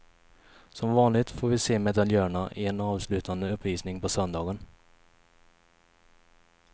Som vanligt får vi se medaljörerna i en avslutande uppvisning på söndagen.